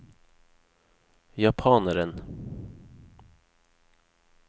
japaneren